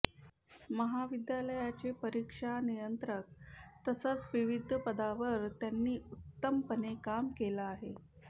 महाविद्यालयाचे परिक्षा नियंत्रक तसच विविध पदांवर त्यांनी उत्तमपणे काम केलं आहे